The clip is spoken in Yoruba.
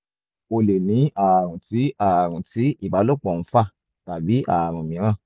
o lè ní ààrùn tí ààrùn tí ìbálòpọ̀ ń fà tàbí ààrùn mìíràn